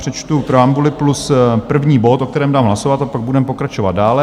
Přečtu preambuli plus první bod, o kterém dám hlasovat, a pak budeme pokračovat dále: